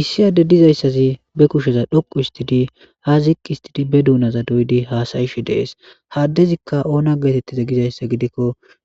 issi adde dizayssazi be kusheza dhoqu istidi ha ziqi istidi be duunaza doydi haasayish dees haddezikka oona geetettiza gizayssa gidikko